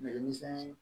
Nɛgɛminɛn